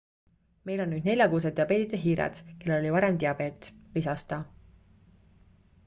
"""meil on nüüd neljakuused diabeedita hiired kellel oli varem diabeet," lisas ta.